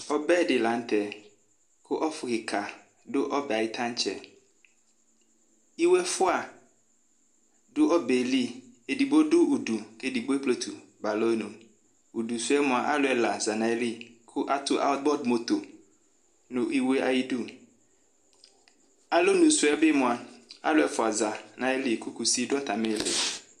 ɔbɛ di lanu tɛ ku ɔfu kika du ɔbɛ ayiʋ tatsɛiwe efua ɔdu ɔbɛ yɛ li edigbo ɔdu udu ku edigbo ekpletu ba alɔnu udu suyɛ mua alu ɛla zanu ayili ku atu , ademoto nu iwe yɛ ayidu alɔnu suyɛ bi mua , alu ɛfua sanu ayili ku kusi du atamili